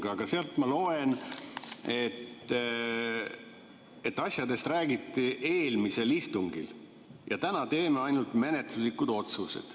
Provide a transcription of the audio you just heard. ma loen, et asjadest räägiti eelmisel istungil ja täna tehakse ainult menetluslikud otsused.